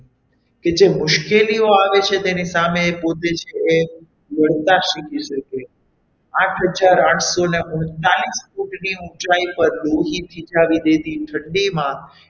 કે જે મુશ્કેલીઓ આવે છે એને પોતે સામે લડતા શીખી શકે આઠ હજાર આઠસો ને ઓગણપચાસની ફૂટની ઊંચાઈ પર લોહી થીજાવી દે તે ધ્રુજાવી ઠંડીમાં,